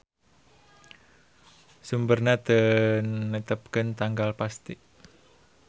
Sumberna teu netepkeun tanggal pasti.